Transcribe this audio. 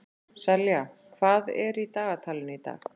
Selja, hvað er í dagatalinu í dag?